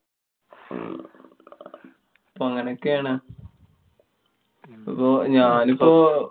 അപ്പൊ അങ്ങനോക്ക്യാണ്. പ്പൊ ഞാനിപ്പോ